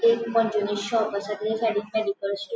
एक मॉन्जिनीस शॉप असा तेचा साइडिक --